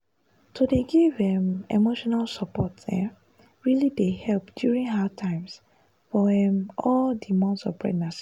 to dey give um emotional support um really dey help during hard times for um all di months of pregnancy.